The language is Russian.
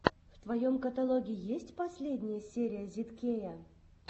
в твоем каталоге есть последняя часть зидкея